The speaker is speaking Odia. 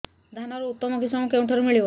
ଧାନର ଉତ୍ତମ କିଶମ କେଉଁଠାରୁ ମିଳିବ